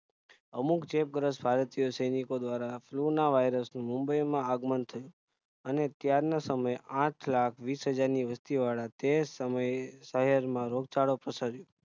અમુક જે ભારતોયો સૈનિકો દ્વારા flu ના virus નું મુંબઈ માં આગમન થયું અને ત્યારના સમયે આઠલાખ વિસહજાર ની વસ્તી વાળા તે સમયે શહેર માં રોગચાળો પ્રસર્યો